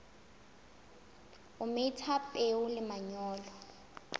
o metha peo le manyolo